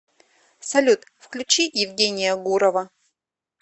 салют включи евгения гурова